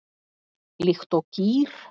Líkt og gír